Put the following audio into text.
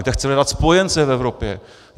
Kde chce hledat spojence v Evropě?